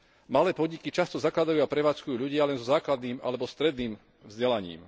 Malé podniky často zakladajú a prevádzkujú ľudia len so základným alebo stredným vzdelaním.